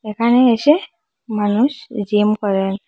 এখানে এসে মানুষ জিম করেন।